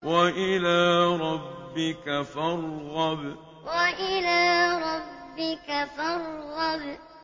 وَإِلَىٰ رَبِّكَ فَارْغَب وَإِلَىٰ رَبِّكَ فَارْغَب